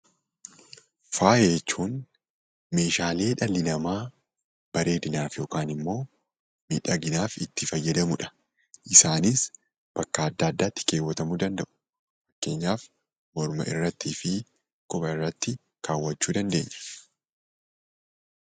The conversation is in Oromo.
Faaya jechuun meeshaalee dhalli namaa bareedinaaf yookaan immoo miidhaginaaf itti fayyadamudha. Isaanis bakka adda addaatti keewwatamuu ni danda'u. Fakkeenyaaf morma irrattii fi quba irratti kaawwachuu ni dandeenya.